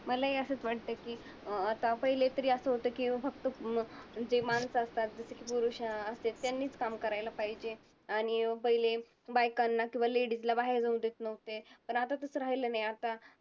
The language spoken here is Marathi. मलाही असंच वाटते की अं आता पहिले असं होतं की फक्त जे माणसं असतात, जसे की पुरुष असते त्यांनीच काम करायला पाहिजे. आणि पहिले बायकांना किंवा ladies ला बाहेर जाऊ देत नव्हते. पण आता तसं राहिलं नाही. आता